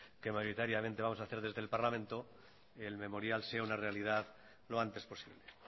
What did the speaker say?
que mayoritariamente vamos a hacer desde el parlamento el memorial sea una realidad lo antes posible